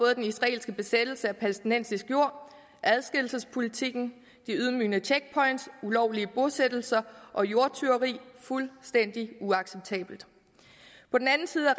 er den israelske besættelse af palæstinensisk jord adskillelsespolitikken de ydmygende checkpoints ulovlige bosættelser og jordtyveri fuldstændig uacceptabelt på den anden side